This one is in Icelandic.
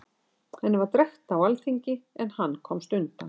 Henni var drekkt á alþingi, en hann komst undan.